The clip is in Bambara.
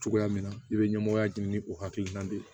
Cogoya min na i bɛ ɲɛmɔgɔya ɲini o hakilina de